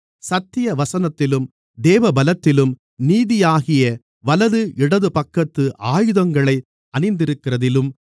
சத்தியவசனத்திலும் தேவபலத்திலும் நீதியாகிய வலது இடதுபக்கத்து ஆயுதங்களை அணிந்திருக்கிறதிலும்